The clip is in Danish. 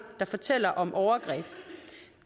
der fortæller om overgreb